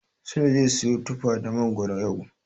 Sule zai siyo tufa da mangoro yau.